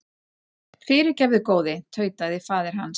Fyrirgefðu góði, tautaði faðir hans.